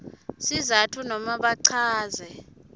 sizatfu nobe bachaze